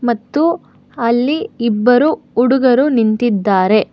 ಮತ್ತು ಅಲ್ಲಿ ಇಬ್ಬರು ಹುಡುಗರು ನಿಂತಿದ್ದಾರೆ.